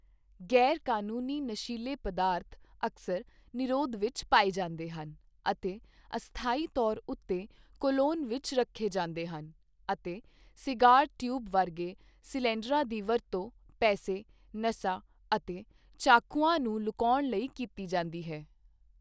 ਗ਼ੈਰ ਕਾਨੂੰਨੀ ਨਸ਼ੀਲੇ ਪਦਾਰਥ ਅਕਸਰ ਨਿਰੋਧ ਵਿੱਚ ਪਾਏ ਜਾਂਦੇ ਹਨ ਅਤੇ ਅਸਥਾਈ ਤੌਰ ਉੱਤੇ ਕੋਲੋਨ ਵਿੱਚ ਰੱਖੇ ਜਾਂਦੇ ਹਨ, ਅਤੇ ਸਿਗਾਰ ਟਿਊਬ ਵਰਗੇ ਸਿਲੰਡਰਾਂ ਦੀ ਵਰਤੋਂ ਪੈਸੇ, ਨਸਾਂ ਅਤੇ ਚਾਕੂਆਂ ਨੂੰ ਲੁਕਾਉਣ ਲਈ ਕੀਤੀ ਜਾਂਦੀ ਹੈ।